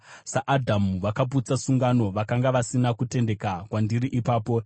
SaAdhamu, vakaputsa sungano, vakanga vasina kutendeka kwandiri ipapo.